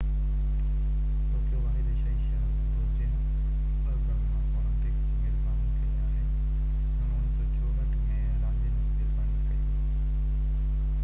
Tokyo واحد ايشيائي شهر هوندو جنهن ٻہ گرما اولمپڪس جي ميزباني ڪئي آهي انهن 1964 ۾ راندين جي ميزباني ڪئي هئي